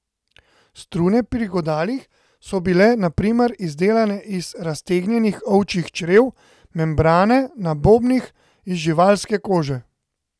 Strune pri godalih so bile na primer izdelane iz raztegnjenih ovčjih črev, membrane na bobnih iz živalske kože.